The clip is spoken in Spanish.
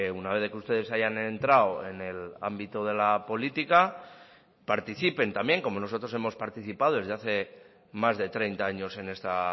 una vez de que ustedes hayan entrado en el ámbito de la política participen también como nosotros hemos participado desde hace más de treinta años en esta